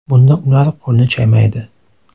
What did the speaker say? Bunda ular qo‘lni chaymaydi.